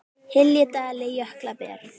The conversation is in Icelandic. hylji dali jökull ber